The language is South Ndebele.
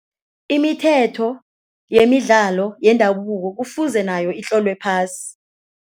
Imithetho yemidlalo yendabuko kufuze nayo itlolwe phasi.